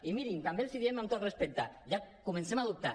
i mirin també els ho diem amb tot respecte ja comencem a dubtar